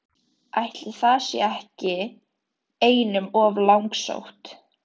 Ætli það sé nú ekki einum of langsótt!